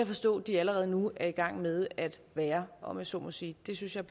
forstå de allerede nu er i gang med at være om jeg så må sige det synes jeg